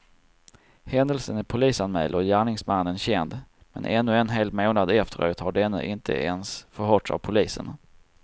Händelsen är polisanmäld och gärningsmannen känd, men ännu en hel månad efteråt har denne inte ens förhörts av polisen.